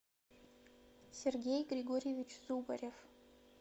сергей григорьевич зубарев